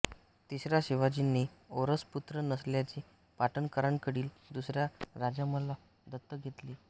तिसऱ्या शिवाजींना औरस पुत्र नसल्याने पाटणकरांकडील दुसऱ्या राजारामला दत्तक घेतले